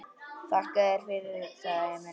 Þakka þér fyrir, sagði Emil.